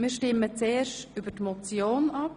Zuerst stimmen wir über die Motion ab.